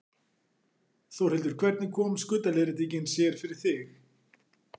Þórhildur: Hvernig kom skuldaleiðréttingin sér fyrir þig?